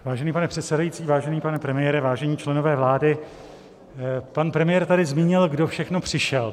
Vážený pane předsedající, vážený pane premiére, vážení členové vlády, pan premiér tady zmínil, kdo všechno přišel.